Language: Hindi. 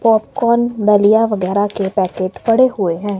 पॉपकॉर्न दलिया वगैरह के पैकेट पड़े हुए हैं।